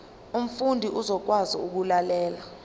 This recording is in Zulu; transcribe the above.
umfundi uzokwazi ukulalela